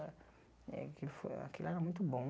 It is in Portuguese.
Ah eh aquilo foi aquilo era muito bom.